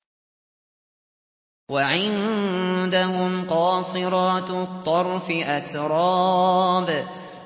۞ وَعِندَهُمْ قَاصِرَاتُ الطَّرْفِ أَتْرَابٌ